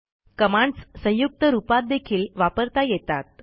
commands संयुक्त रूपातदेखील वापरता येतात